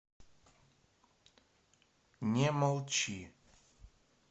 не молчи